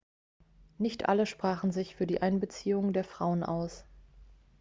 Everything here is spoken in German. nicht alle sprachen sich für die einbeziehung der frauen aus